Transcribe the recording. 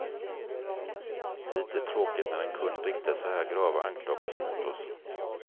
Lite tråkigt när en kund riktar så här grava anklagelser mot oss.